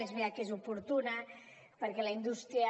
és veritat que és oportuna perquè la indústria